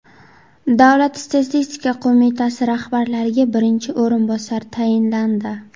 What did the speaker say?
Davlat statistika qo‘mitasi rahbariga birinchi o‘rinbosar tayinlandi.